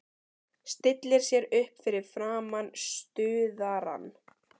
Stillir sér upp fyrir framan stuðarann.